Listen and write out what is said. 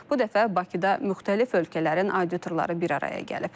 Bu dəfə Bakıda müxtəlif ölkələrin auditorları bir araya gəlib.